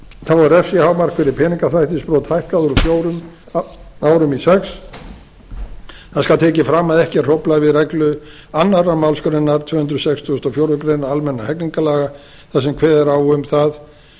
þá er refsihámark fyrir peningaþvættisbrot hækkað úr fjórum árum í sjötta það skal tekið fram að ekki er hróflað við reglu annarri málsgrein tvö hundruð sextugustu og fjórðu grein almennra hegningarlaga þar sem kveðið er á um